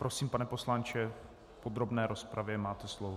Prosím, pane poslanče, v podrobné rozpravě máte slovo.